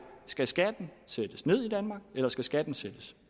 skal skatten sættes ned i danmark eller skal skatten sættes